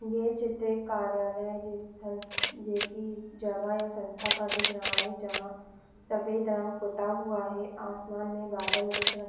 ये चित्र एक कार्यालय स्थल जैसी जगह या संस्था का दिख रहा है जहाँ सफेद रंग पुता हुआ है आसमान में बादल दिख रहे --